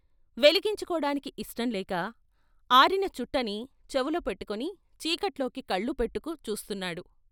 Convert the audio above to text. వెలిగించుకోటానికి ఇష్టం లేక అరిస చుట్టని చెపులో పెట్టుకుని చీకట్లోకి కళ్లు పెట్టుకు చూస్తున్నాడు.